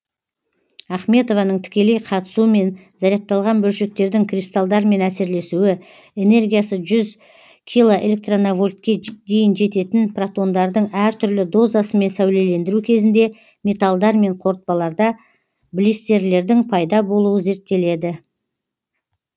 ахметованың тікелей қатысуымен зарядталған бөлшектердің кристалдармен әсерлесуі энергиясы жүз килоэлектровольтке дейін жететін протондардың әр түрлі дозасымен сәулелендіру кезінде металдар мен қорытпаларда блистерлердің пайда болуы зерттелді